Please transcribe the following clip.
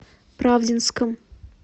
правдинском